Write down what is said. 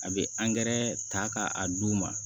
A bɛ ta ka a d'u ma